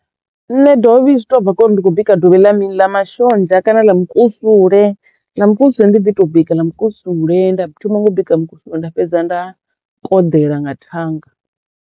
Nṋe dovhi zwi to bva khori ndi kho bika dovhi ḽa mini ḽa mashonzha kana ḽa mukusule, ḽa mukusule ndi ḓi to bika mukusule nda thoma ngo u bika mukusule nda fhedza nda koḓela nga thanga.